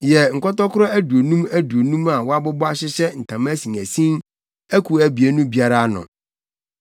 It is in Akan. Yɛ nkɔtɔkoro aduonum aduonum a wɔabobɔ hyehyɛ ntama asinasin akuw abien no biara ano.